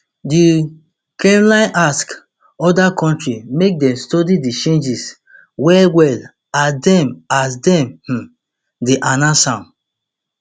di kremlin ask oda countries make dem study di changes wellwell as dem as dem um dey announce am